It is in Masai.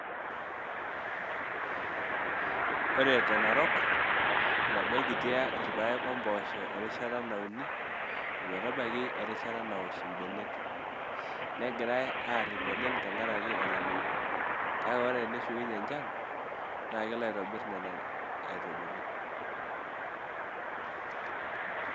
Ore te Narok, etabaikitia irpaek o mpoosho erishata nauni ometabaiki erishata nawosh imbenek negirai aarip oleng tenkaraki olameyu, kake ore teneshukunyie enchan naa kelo aitobirr nena aitubulu.